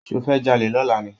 Ṣofẹ́ jalè lọ̀la ni?